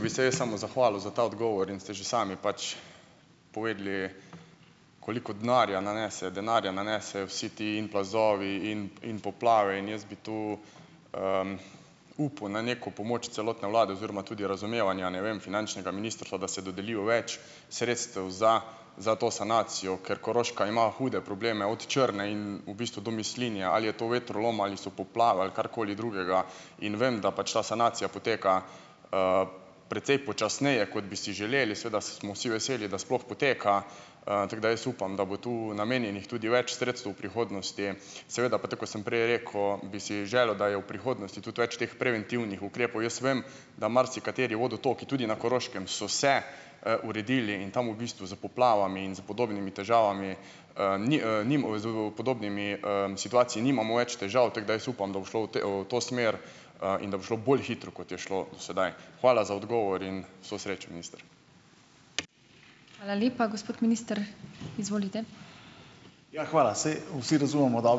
Bi se jaz samo zahvalil za ta odgovor in ste že sami pač povedali, koliko denarja nanese, denarja nanesejo vsi ti in plazovi in, in poplave. In jaz bi tu, upal na neko pomoč celotne vlade oziroma tudi razumevanja, ne vem, finančnega ministrstva, da se dodeli več sredstev za, za to sanacijo, ker Koroška ima hude probleme od Črne in v bistvu do Mislinje. Ali je to vetrolom ali so poplave ali karkoli drugega. In vem, da pač ta sanacija poteka, precej počasneje, kot bi si želeli, seveda smo vsi veseli, da sploh poteka. Tako da jaz upam, da bo tu namenjenih tudi več sredstev v prihodnosti. Seveda pa, tako kot sem prej rekel, bi si želel, da je v prihodnosti tudi več teh preventivnih ukrepov. Jaz vem, da marsikateri vodotoki tudi na Koroškem so se, uredili in tam v bistvu s poplavami in s podobnimi težavami, ni, ni podobnimi, situacijami nimamo več težav, tako da jaz upam, da bo šlo v te, v to smer, in da bo šlo bolj hitro, kot je šlo sedaj. Hvala za odgovor in vso srečo, minister.